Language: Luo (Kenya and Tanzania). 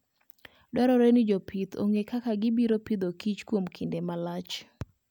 Dwarore ni jopith ong'e kaka gibiro Agriculture and Food kuom kinde malach.